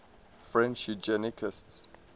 french eugenicists